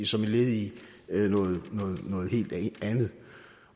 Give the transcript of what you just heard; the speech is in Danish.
som et led i noget helt andet